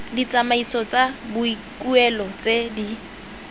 ditsamaiso tsa boikuelo tse di